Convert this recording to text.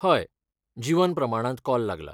हय, जीवन प्रमाणांत कॉल लागलां.